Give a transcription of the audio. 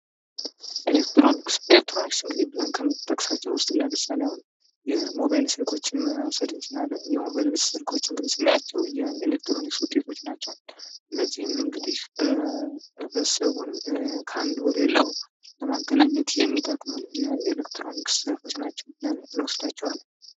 ኤሌክትሮኒክስ ኤሌክትሮኒክስ እንግዲ ብለን ከምንጠቅሳቸው ውስጥ ለምሳሌ አሁን የሞባይል ስልኮች መውሰድ እንችላለን። የሞባይል ስልኮች እንግዲህ ስናያቸው የኤሌክትሮኒክስ ውጤቶች ናቸው። እነዚህም እንግዲህ ህብረተሰቡን ከአንድ ቦታ ወደሌላ ቦታ ለማገናኘት የሚጠቅሙ የኤሌክትሮኒክስ እቃዎች ናቸው ብለን እንወስዳቸዋለን።